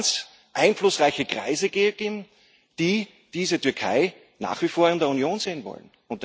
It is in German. Da muss es ganz einflussreiche Kreise geben, die diese Türkei nach wie vor in der Union sehen wollen.